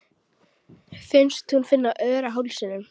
Finnst hún finna ör á hálsinum.